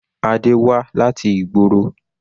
Adé wá láti ìgboro.